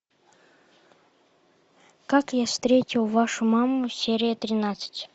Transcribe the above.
как я встретил вашу маму серия тринадцать